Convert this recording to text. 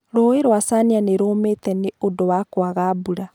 Rũũĩ rwa chania nĩ rũumĩte nĩ ũndũ wa kwaga mbura